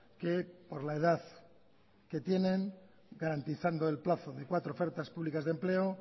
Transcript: que por la edad que tienen garantizando el plazo de cuatro ofertas públicas de empleo